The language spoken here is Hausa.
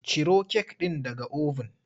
Ciro kek ɗin daga oven!